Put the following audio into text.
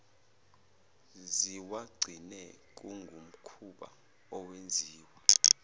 ziwagcine kungumkhuba owenziwa